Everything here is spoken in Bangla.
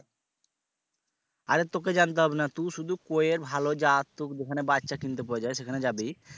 আরে তোকে জানতে হবে না তুই শুধু কই এর ভালো জাত তু যেখানে বাচ্চা কিনতে পাওয়া যায় সেখানে যাবি